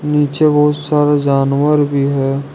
नीचे बहुत सारे जानवर भी है।